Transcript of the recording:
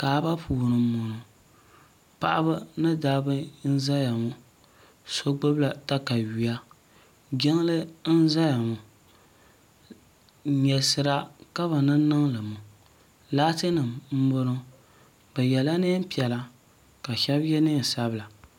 Kaaba puuni n bɔŋo paɣaba ni dabba n zaya ŋɔ so gbubi la takayuya jiŋli n zaya ŋɔ nyɛlisira ka bi niŋ niŋli ŋɔ laati nim n bɔŋo bi yɛla niɛn piɛla ka shɛba yɛ niɛn sabila.